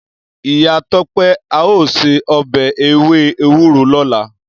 Iya Tope ao se obe ewe ewuro lola.